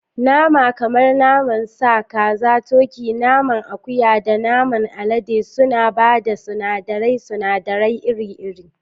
Nama kamar naman sa, kaza, turkey, naman akuya, da naman alade suna ba da sunadaran sunadarai iri-iri.